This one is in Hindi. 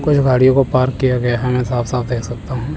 कुछ गाड़ियों को पार्क किया गया है हमें साफ साफ देख सकता हूं।